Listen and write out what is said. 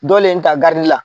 Dɔlen ta la.